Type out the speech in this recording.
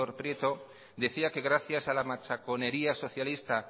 prieto decía que gracias a la machaconería socialista